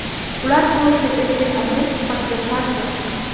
Ular klubni erkin agent sifatida tark etdi.